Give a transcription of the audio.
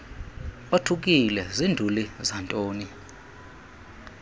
othukile zinduli zantoni